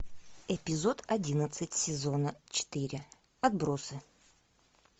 эпизод одиннадцать сезона четыре отбросы